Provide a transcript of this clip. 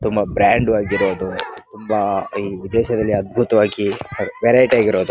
ತುಂಬಾ ಬ್ರಾಂಡ್ ಆಗಿರೋದು ತುಂಬಾ ಈ ಉದ್ದೇಶದಲ್ಲಿ ಅದ್ಬುತವಾಗಿ ವೆರೈಟಿ ಆಗಿರೋದು .